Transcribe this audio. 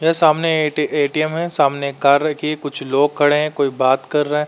यह सामने A T ATM है। सामने एक कार रखी है। कुछ लोग खड़े हैं। कोई बात कर रहा है।